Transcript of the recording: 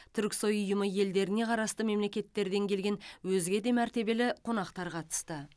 түрксой ұйымы елдеріне қарасты мемлекеттерден келген өзге де мәртебелі қонақтар қатысты